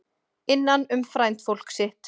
Innan um frændfólk sitt